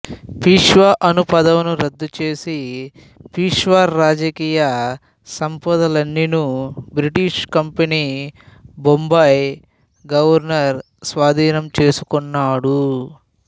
పీష్వా అను పదవిని రద్దుచేసి పీష్వా రాజకీయ సంపదలన్నీను బ్రిటిష్ కంపెనీ బొంబాయి గవర్నరు స్వాధీనము చేసుకున్నాడు